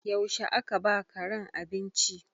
Yaushe aka ba wa karen abinci?